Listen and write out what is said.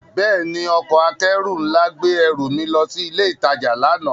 Bẹ́ẹ̀ni, ọkọ̀ akẹ́rù nla gbe ẹru mi lọ si ile itaja lana.